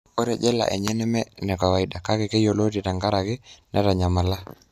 Ore jela enye nemeenekawaida ,kake keyioloti tengaraki nitanyamala.